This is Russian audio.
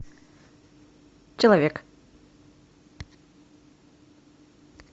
человек